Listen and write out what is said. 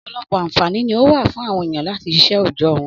Ọ̀pọ̀lọpọ̀ àǹfààní ni ó wà fún àwọn èèyàn láti síṣẹ́ òòjọ́ wọn.